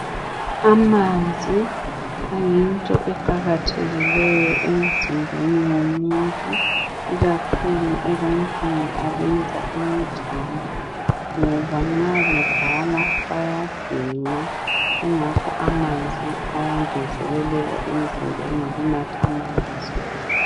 Amanzi ayinto eqakathekileyo emzimbeni womuntu, ikakhulu ebantwini abenza imidlalo, ngoba nxa bedlala bayaginqa. Kungakho amanzi ayangezeleleka emzimbeni ngokuwanatha.